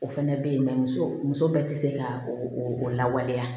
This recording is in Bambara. O fɛnɛ bɛ ye muso muso bɛɛ tɛ se ka o o lawaleya